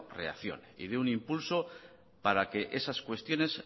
reaccione y de un impulso para que esas cuestiones